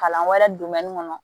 Kalan wɛrɛ kɔnɔ